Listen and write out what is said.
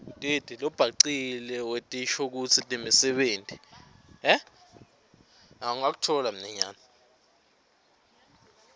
lobhacile wetinshokutsi nemisebenti